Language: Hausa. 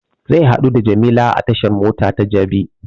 Zai haɗu da jamila a tashan mota ta jabi